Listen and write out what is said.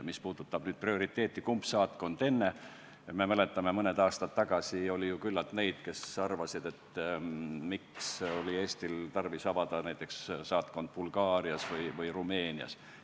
Mis puudutab prioriteeti, kumb saatkond enne, siis me mäletame, kuidas mõned aastad tagasi oli küllalt neid, kes arvasid, et miks oli Eestil tarvis avada saatkond näiteks Bulgaarias või Rumeenias.